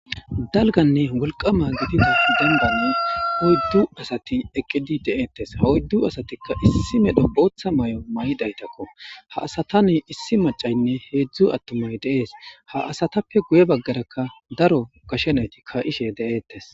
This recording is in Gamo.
dalganne wulqama gidida denbanne huyddu asati eqqidi deeettes ha oyddu asatikka issi medho ooththa may7o may7dhaytakko ha asata ne issi macaynne heedzdzu attomoy deees ha asatappe guye baggarakka daro gashenayti ka ishe de'eettes